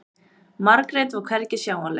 Margrét var hvergi sjáanleg.